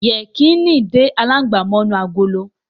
Yẹkìnì dé alangba mó inú àgọlọ.